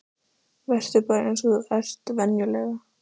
Vertu bara eins og þú ert venjulega.